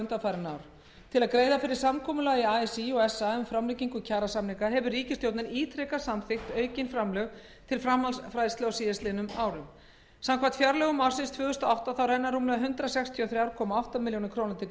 undanfarin ár til að greiða fyrir samkomulagi así og sa um framlengingu kjarasamninga hefur ríkisstjórnin ítrekað samþykkt aukin framlög til framhaldsfræðslu á síðastliðnum árum samkvæmt fjárlögum ársins tvö þúsund og átta renna rúmlega hundrað sextíu og þrjú komma átta milljónir króna til grunnreksturs